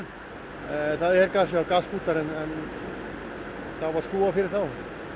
já það eru gaskútar en það var skrúfað fyrir þá